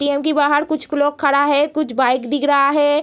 ATM. के बाहर कुछ लोग खड़ा है कुछ बाइक दिख रहा है।